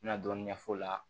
N bɛna dɔɔnin ɲɛf'o la